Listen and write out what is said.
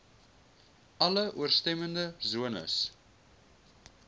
alle ooreenstemmende sones